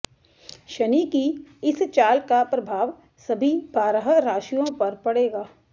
शनि की इस चाल का प्रभाव सभी बारह राशियों पर पड़ेगा